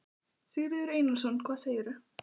Sigurður Einarsson: Hvað segirðu?